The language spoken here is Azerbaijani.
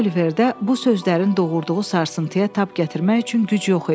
Oliverdə bu sözlərin doğurduğu sarsıntıya tab gətirmək üçün güc yox idi.